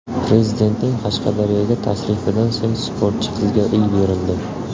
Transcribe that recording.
Prezidentning Qashqadaryoga tashrifidan so‘ng sportchi qizga uy berildi.